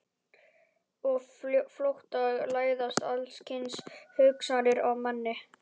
Og á flótta læðast alls kyns hugsanir að manni.